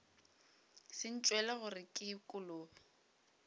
se ntšwele gore ke kolobe